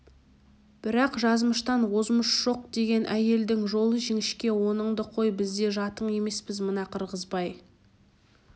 бірақ жазмыштан озмыш жоқ деген әйелдің жолы жіңішке оныңды қой біз де жатың емеспіз мына қырғызбай